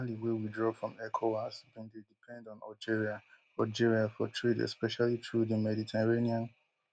mali wey withdraw from ecowas bin dey depend on algeria algeria for trade especially through di mediterranean